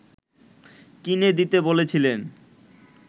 কিনে দিতে বলেছিলেন